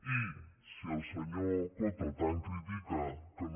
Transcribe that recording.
i si el senyor coto tant critica que no